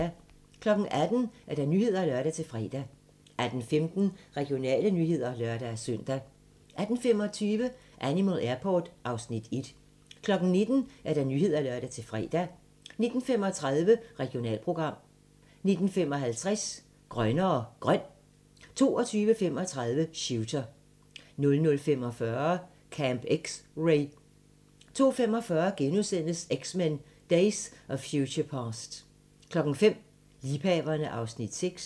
18:00: Nyhederne (lør-fre) 18:15: Regionale nyheder (lør-søn) 18:25: Animal Airport (Afs. 10) 19:00: Nyhederne (lør-fre) 19:35: Regionalprogram 19:55: Grønnere Grøn 22:35: Shooter 00:45: Camp X-Ray 02:45: X-Men: Days of Future Past * 05:00: Liebhaverne (Afs. 6)